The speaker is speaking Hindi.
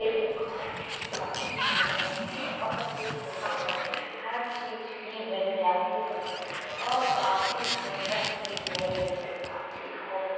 यह दुकान काफी सुन्दर भी है और इस दुकान में हर चीज भी मिल जाती है और काफी सुन्दर भी है यह दुकान देखो।